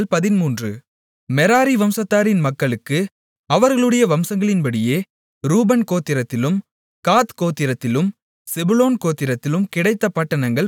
Merari வம்சத்தின் மக்களுக்கு அவர்களுடைய வம்சங்களின்படியே ரூபன் கோத்திரத்திலும் காத் கோத்திரத்திலும் செபுலோன் கோத்திரத்திலும் கிடைத்த பட்டணங்கள் பன்னிரண்டு